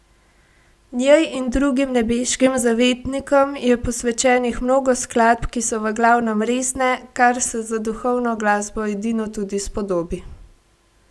Njej in drugim nebeškim zavetnikom je posvečenih mnogo skladb, ki so v glavnem resne, kar se za duhovno glasbo edino tudi spodobi.